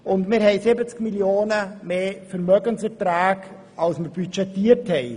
Weiter haben wir um 70 Mio. Franken höhere Vermögenseinträge als budgetiert.